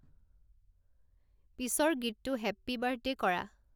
পিছৰ গীতটো happy birthday কৰা